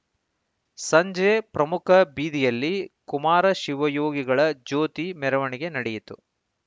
ಸಂಜೆ ಪ್ರಮುಖ ಬೀದಿಯಲ್ಲಿ ಕುಮಾರಶಿವಯೋಗಿಗಳ ಜ್ಯೋತಿ ಮೆರವಣಿಗೆ ನಡೆಯಿತು